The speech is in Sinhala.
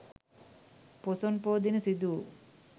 පොසොන් පෝ දින සිදු වූ